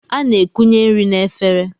A na-ekunye nri n'efere.